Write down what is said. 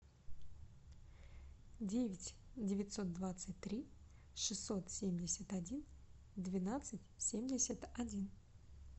девять девятьсот двадцать три шестьсот семьдесят один двенадцать семьдесят один